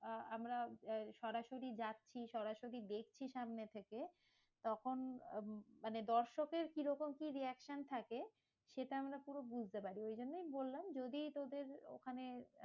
আহ আমরা সরাসরি যাচ্ছি সরাসরি দেখছি সামনে থেকে তখন মানে দর্শকের কিরকম কি reaction থাকে? সেটা আমরা পুরো বুঝতে পারি। ঐজন্যই বললাম যদি তোদের ওখানে